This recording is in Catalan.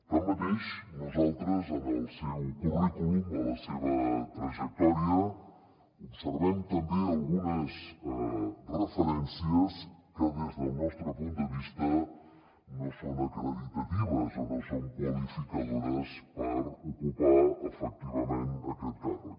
tanmateix nosaltres en el seu currículum a la seva trajectòria observem també algunes referències que des del nostre punt de vista no són acreditatives o no són qualificadores per ocupar efectivament aquest càrrec